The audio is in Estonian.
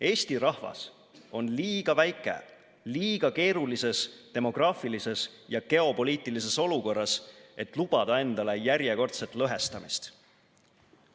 Eesti rahvas on liiga väike, liiga keerulises demograafilises ja geopoliitilises olukorras, et lubada endale järjekordset lõhestamist.